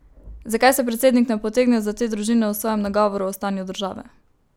Zakaj se predsednik ne potegne za te družine v svojem nagovoru o stanju države?